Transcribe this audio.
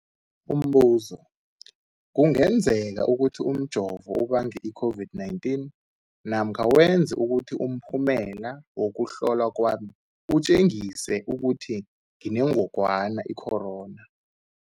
Umbuzo, kungenzekana ukuthi umjovo ubange i-COVID-19 namkha wenze ukuthi umphumela wokuhlolwa kwami utjengise ukuthi nginengogwana i-corona?